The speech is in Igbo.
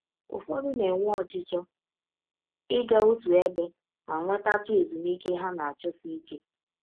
Ụfọdụ na - enwe ọchịchọ ịga ọtụ ebe ma nwetatụ ezụmịke ha na - achọsi ike.